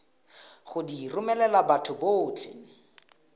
go di romela batho botlhe